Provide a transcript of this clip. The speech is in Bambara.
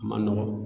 A ma nɔgɔn